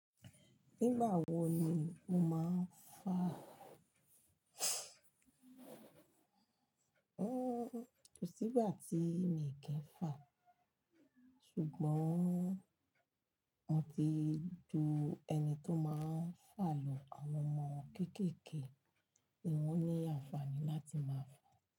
Nígbà wo ni mo máa ń fà? Ó ko sí gbà tí mi kì í fà, ṣùgbọ́n mo ti ju ẹni tó máa ń fà lọ. Àwọn ọmọ kéékèèké ni wọ́n ní àǹfààní láti máa fà.